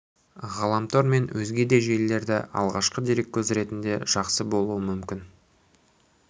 ғаламтор мен өзге де желілер алғашқы дереккөз ретінде жақсы болуы мүмкін